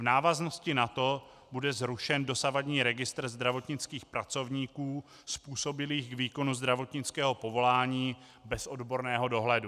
V návaznosti na to bude zrušen dosavadní registr zdravotnických pracovníků způsobilých k výkonu zdravotnického povolání bez odborného dohledu.